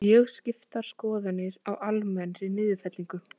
Mjög skiptar skoðanir á almennri niðurfellingu